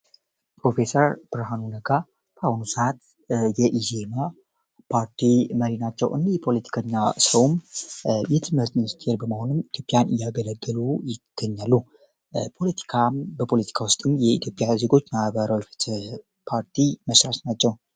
ፕሮፌሰር ብርሃኑ ነጋር ፓውኑ ሰዓት የኢዜዬማ ፓርቲ መሪ ናቸው። እኔ የፖለቲከኛ ሰውም የትመዝንስትየር በመሆንም ኢቶዮፒያን እያገለገሉ ይገኛሉ። ፖለቲካም በፖለቲካ ውስጥም የኢትዮጵያ ዝጎች ናዕባራው ተ ፓርቲ መችራስ ናቸው።